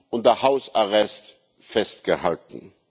unter Hausarrest festgehalten.